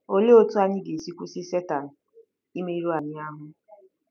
Olee otú anyị ga-esi kwụsị Setan imerụ anyị ahụ́?